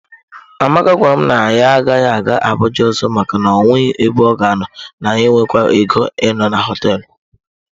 Amaka gwara m na ya agaghị aga Abuja ọzọ maka na o nweghị ebe ọ ga-anọ, na ya enweghịkwa ego ịnọ na hoteelu.